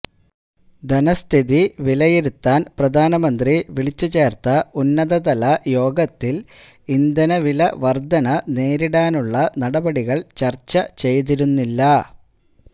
ധനസ്ഥിതി വിലയിരുത്താന് പ്രധാനമന്ത്രി വിളിച്ചു ചേര്ത്ത ഉന്നതതല യോഗത്തില് ഇന്ധനവില വര്ധന നേരിടാനുള്ള നടപടികള് ചര്ച്ച ചെയ്തിരുന്നില്ല